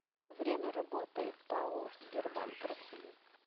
время работы пао сбербанк россии